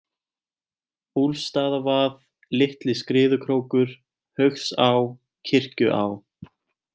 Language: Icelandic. Úlfsstaðavað, Litli-Skriðukrókur, Haugsá, Kirkjuá